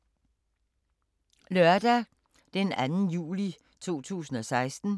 Lørdag d. 2. juli 2016